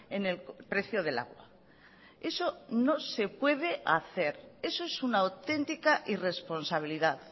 en el precio del agua eso no se puede hacer eso es una auténtica irresponsabilidad